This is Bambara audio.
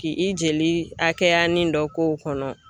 Ki i jeli hakɛyanin dɔ k'o kɔnɔ.